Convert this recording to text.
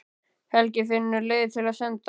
Helgi finnur leiðir til að senda